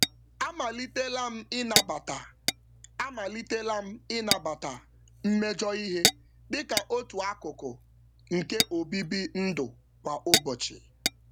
M na-amụta um ịnabata mmejọ um dị ka akụkụ nkịtị nke ndụ kwa um ụbọchị.